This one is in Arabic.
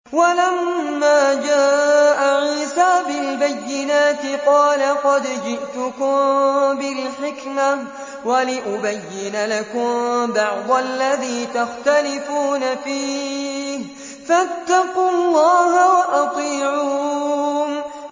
وَلَمَّا جَاءَ عِيسَىٰ بِالْبَيِّنَاتِ قَالَ قَدْ جِئْتُكُم بِالْحِكْمَةِ وَلِأُبَيِّنَ لَكُم بَعْضَ الَّذِي تَخْتَلِفُونَ فِيهِ ۖ فَاتَّقُوا اللَّهَ وَأَطِيعُونِ